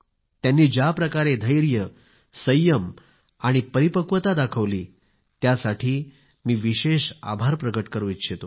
त्यांनी ज्या प्रकारे धैर्य संयम आणि परिपक्वता दाखवली त्यासाठी मी विशेष आभार प्रगट करू इच्छितो